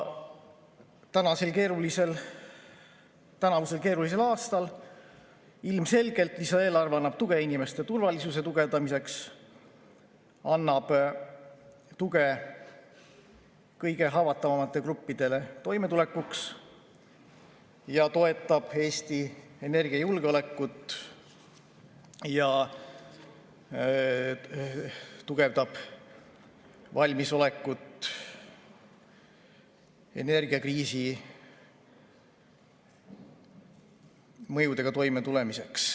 Tänavusel keerulisel aastal annab lisaeelarve ilmselgelt tuge inimeste turvalisuse tugevdamiseks, annab tuge kõige haavatavamatele gruppidele toimetulekuks, toetab Eesti energiajulgeolekut, tugevdab valmisolekut energiakriisi mõjudega toimetulemiseks.